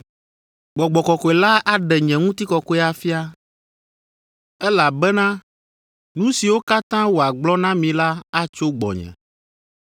Gbɔgbɔ Kɔkɔe la aɖe nye ŋutikɔkɔe afia, elabena nu siwo katã wòagblɔ na mi la atso gbɔnye.